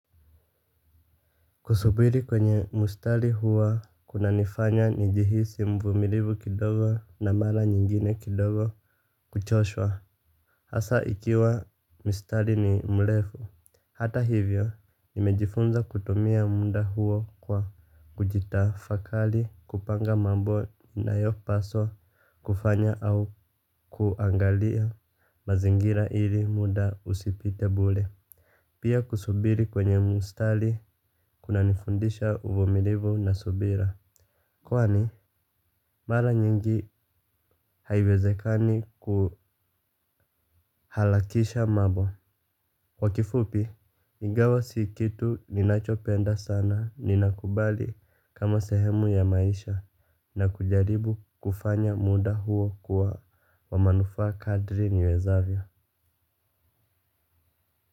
Kusubiri kwenye mustari huwa kuna nifanya nijihisi mvumilivu kidogo na mala nyingine kidogo kuchoshwa. Hasa ikiwa mustari ni mlefu. Hata hivyo nimejifunza kutumia munda huwa kwa kujitafakali kupanga mambo nayopaswa kufanya au kuangalia mazingira ili muda usipite bule. Pia kusubiri kwenye mustali kunanifundisha uvumilivu na subira. Kwani, mala nyingi haiwezekani kuhalakisha mambo. Kwa kifupi, ingawa si kitu ninachopenda sana ninakubali kama sehemu ya maisha na kujaribu kufanya muda huo kuwa wa manufaa kadri niwezavyo.